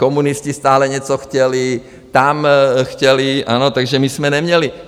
Komunisti stále něco chtěli, tam chtěli, ano, takže my jsme neměli.